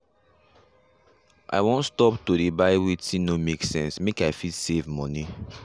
i wan stop to dey buy wetin no make sense make i fit save money